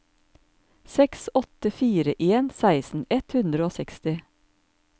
seks åtte fire en seksten ett hundre og seksti